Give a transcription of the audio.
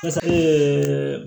Ɛseke